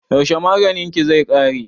Yaushe maganin ki zai ƙare?